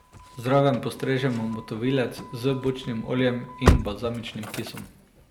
Zraven postrežemo motovilec z bučnim oljem in balzamičnim kisom.